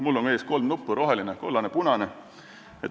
Mul on ees kolm nuppu: roheline, kollane, punane.